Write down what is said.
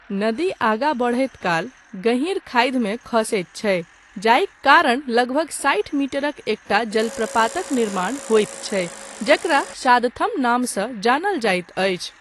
नदी आगा बढैत काल गहीर खाधिमे खसैत छै जाहिक कारण लगभग साठि मीटरक एकटा जलप्रपातक निर्माण होइत छै जकरा शादथम नामसँ जानल जाइत अछि।